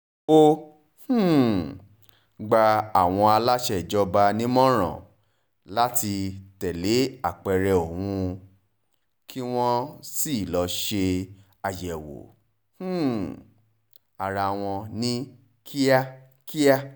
ó um gba àwọn aláṣẹ ìjọba nímọ̀ràn láti tẹ̀lé apẹ̀rẹ̀ òun kí wọ́n sì lọ́ọ́ ṣe àyẹ̀wò um ara wọn ní kíákíá